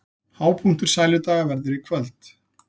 Hápunktur Sæludaga verður í kvöld